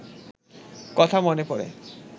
কথা মনে পড়ে।